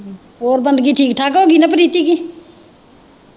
ਹੋਰ ਬੰਦਗੀ ਠੀਕ ਠਾਕ ਹੋ ਗਈ ਨਾ ਪ੍ਰੀਤੀ ਦੀ।